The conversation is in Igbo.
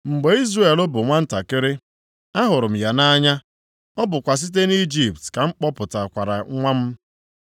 “Mgbe Izrel bụ nwantakịrị, ahụrụ m ya nʼanya, ọ bụkwa site nʼIjipt ka m kpọpụtara nwa m.